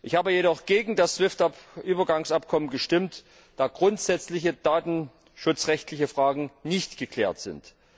Ich habe jedoch gegen das SWIFT Übergangsabkommen gestimmt, da grundsätzliche datenschutzrechtliche Fragen nicht geklärt sind.